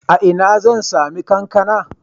A ina zan sami kankana?